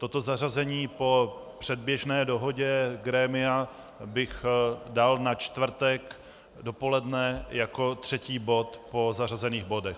Toto zařazení po předběžné dohodě grémia bych dal na čtvrtek dopoledne jako třetí bod po již zařazených bodech.